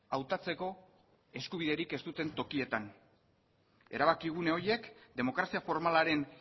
hautatzeko eskubiderik ez duten tokietan erabakigune horiek demokrazia formalaren